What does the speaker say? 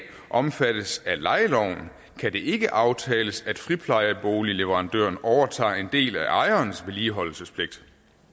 omfattes af lejeloven kan det ikke aftales at friplejeboligleverandøren overtager en del af ejerens vedligeholdelsespligt